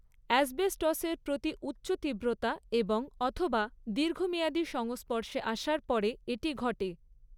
অ্যাসবেস্টসের প্রতি উচ্চ তীব্রতা এবং অথবা দীর্ঘমেয়াদী সংস্পর্শে আসার পরে এটি ঘটে।